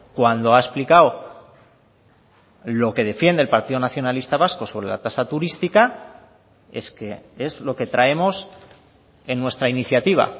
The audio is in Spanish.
cuando ha explicado lo que defiende el partido nacionalista vasco sobre la tasa turística es que es lo que traemos en nuestra iniciativa